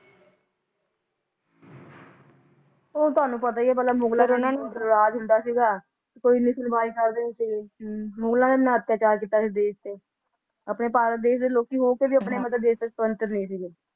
ਔ ਤੁਹਾਨੂੰ ਪਤਾ ਈ ਆ ਪਹਿਲਾ ਮੁਗਲਾ ਦਾ ਰਾਜ ਹੁੰਦਾ ਸੀ ਉਨਾ ਬਹੁਤ ਅਤਿਆਚਾਰ ਕੀਤਾ ਭਾਰਤ ਦੇ ਲੋਕ ਹੋ ਕੇ ਵੀ ਸੁਤੰਤਰ ਨਹੀ ਸਨ